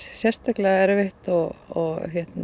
sérstaklega erfitt og ég